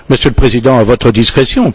Monsieur le Président, à votre discrétion.